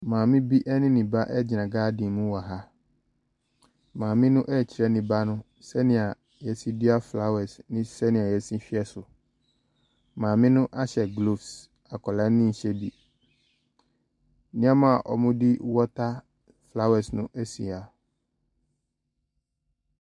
Maame bi ne ne ba gyina garden mu wɔ ha, maame no ɛrekyerɛ ne ba sɛdeɛ yɛsi dua flowers ne sɛdeɛ yɛsi hwɛ so. Maame no ahyɛ gloves, akwadaa no nhyɛ bi, nneɛma a wɔde water flower no si ha.